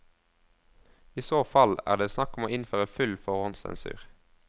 I så fall er det snakk om å innføre full forhåndssensur.